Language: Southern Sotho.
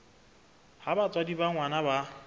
ha batswadi ba ngwana ba